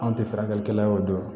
Anw tɛ furakɛlikɛla y'o dɔn